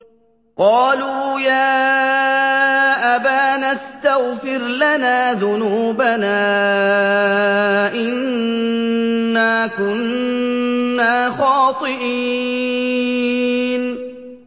قَالُوا يَا أَبَانَا اسْتَغْفِرْ لَنَا ذُنُوبَنَا إِنَّا كُنَّا خَاطِئِينَ